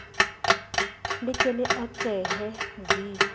le ke le atlehe v